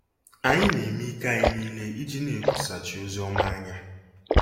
Anyị na-eme ike anyị niile iji na-ekwusachi ozi ọma anya.